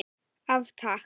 Af Takk.